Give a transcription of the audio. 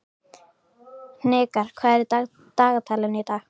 Hnikar, hvað er í dagatalinu í dag?